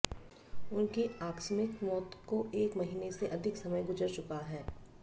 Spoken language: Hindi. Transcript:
उनकी आकस्मिक मौत को एक महीने से अधिक समय गुजर चुका है